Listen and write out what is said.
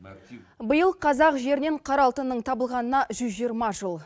биыл қазақ жерінен қара алтынның табылғанына жүз жиырма жыл